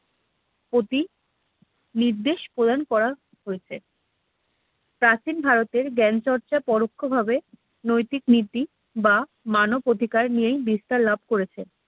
অদ্রি নির্দেশ প্রদান করা হয়েছে প্রাচীন ভারতের জ্ঞানচর্চা পরোক্ষভাবে নৈতিক নীতি বা মানব অধিকার নিয়েই বিস্তার লাভ করেছে